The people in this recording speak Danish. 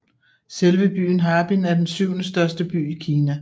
Selve byen Harbin er den syvende største by i Kina